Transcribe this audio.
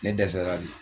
Ne dɛsɛra de